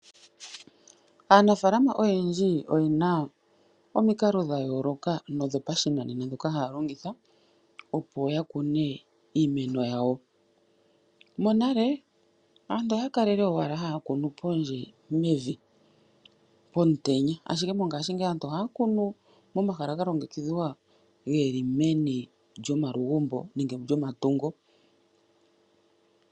Aanafaalama oyendji oyena omikalo dha yooloka ndhoka haya longitha opo yakune iimeno yawo . Monale aantu okwali owala haya kunu pondje pomutenya ashike mongaashingeyi aantu ohaya kunu momahala ga longekidhwa geli meni lyomalugumbo nenge lyomatungo.